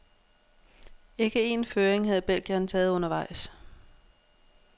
Ikke én føring havde belgieren taget undervejs.